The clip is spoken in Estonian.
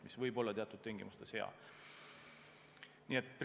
See võib teatud tingimustes hea olla.